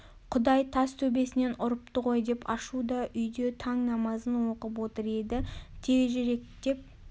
құдай тас төбесінен ұрыпты ғой деп ашу да үйде таң намазын оқып отыр еді текірекгеп